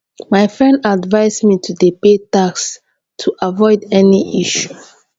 my friend advice me to dey pay tax to avoid any issue